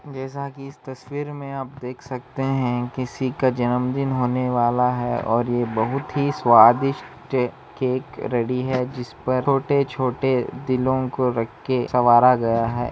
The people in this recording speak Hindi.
जैसा की इस तस्वीर में आप देख सकते है किसी का जन्म दिन होने वाला है और ये बहुत ही स्वादिस्ट केक रेडी है जिस पर छोटे छोटे दिलों को रखके सवांरा गया है।